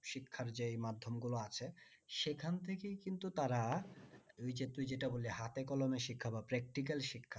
শিক্ষার যে মাধ্যম গুলো আছে সেখান থেকেই কিন্তু তারা তুই যেটা বললি হাতে কলমে শিক্ষা বা practical শিক্ষা